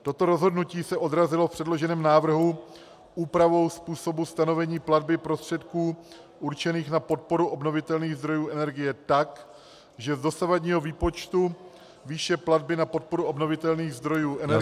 Toto rozhodnutí se odrazilo v předloženém návrhu úpravou způsobu stanovení platby prostředků určených na podporu obnovitelných zdrojů energie tak, že z dosavadního výpočtu výše platby na podporu obnovitelných zdrojů energie -